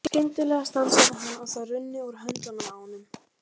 Skyndilega stansaði hann og þær runnu úr höndunum á honum.